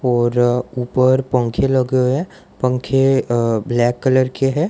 और ऊपर पंखे लगे हुए हैं पंखे अ ब्लैक कलर के हैं।